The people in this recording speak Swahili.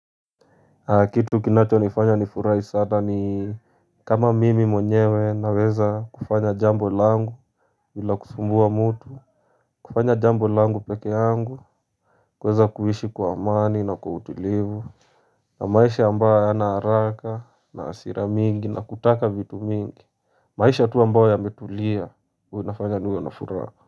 Kitu kinachonifanya nifurahi sana ni kama mimi mwenyewe naweza kufanya jambo langu bila kusumbua mtu kufanya jambo langu pekee yangu kuweza kuishi kwa amani na kwa utulivu na maisha ambayo hayana haraka na hasira mingi na kutaka vitu mingi maisha tu ambayo yametulia huwa inafanya niwe na furaha.